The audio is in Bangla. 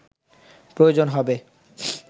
প্রয়োজন হবে